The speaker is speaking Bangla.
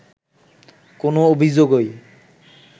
কোনো অভিযোগই